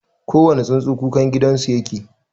kowane tsuntsu kukangidanau yake